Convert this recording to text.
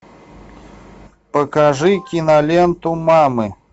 покажи киноленту мамы